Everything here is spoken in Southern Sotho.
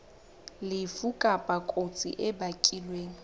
lefu kapa kotsi e bakilweng